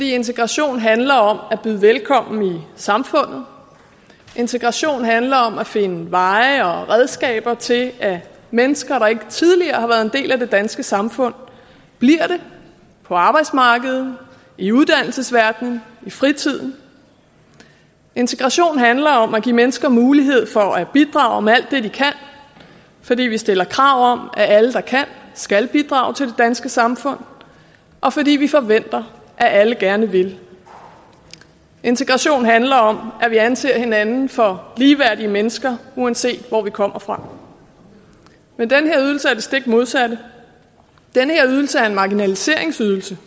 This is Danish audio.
integration handler om at byde velkommen i samfundet integration handler om at finde veje og redskaber til at mennesker der ikke tidligere har været en del af det danske samfund bliver det på arbejdsmarkedet i uddannelsesverdenen i fritiden integration handler om at give mennesker mulighed for at bidrage med alt det de kan fordi vi stiller krav om at alle der kan skal bidrage til det danske samfund og fordi vi forventer at alle gerne vil integration handler om at vi anser hinanden for ligeværdige mennesker uanset hvor vi kommer fra men den her ydelse er det stik modsatte den her ydelse er en marginaliseringsydelse